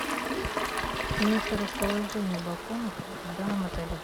место расположения балконов в данном отеле